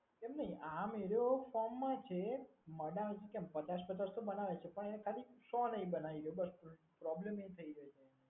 એમ નહીં આમ એરીઓ ફોર્મમાં જ છે. બનાવે છે. કેમ પચાસ પચાસ તો બનાવે છે. પણ એ ખાલી સો નહીં બનાવી ગયો. બસ પ્રોબ્લેમ એ થઈ ગયો છે.